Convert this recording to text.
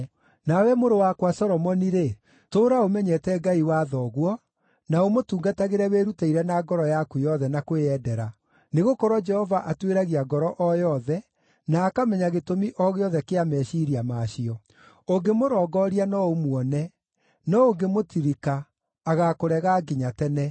“Nawe mũrũ wakwa Solomoni-rĩ, tũũra ũmenyete Ngai wa thoguo, na ũmũtungatagĩre wĩrutĩire na ngoro yaku yothe na kwĩyendera, nĩgũkorwo Jehova atuĩragia ngoro o yothe, na akamenya gĩtũmi o gĩothe kĩa meciiria ma cio. Ũngĩmũrongooria no ũmuone; no ũngĩmũtirika, agaakũrega nginya tene.